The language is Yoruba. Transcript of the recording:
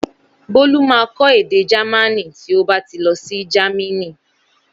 Bólú ma kọ èdè Jámánì tí ó bá ti lọsí jámínì